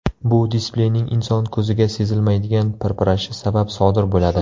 Bu displeyning inson ko‘ziga sezilmaydigan pirpirashi sabab sodir bo‘ladi.